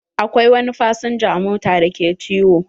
Akwai wani fasinja a mota da ke ciwo.